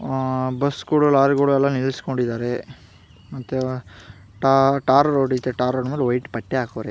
bus ಕೊಡ್ lorry ಕೊಡ ಎಲ್ಲ ನಿಂದ್ರಸ್ಕೊಂಡಿದ್ದಾರೆ ಮತ್ತೆ ತಾ ಟಾರ್ ರೋಡ್‌ ಇದೆ ಟಾರ್‌ ರೊಡ ಮೇಲೆ ವೈಟ್ ಪಟ್ಟೆ ಹಾಕೋರಿ --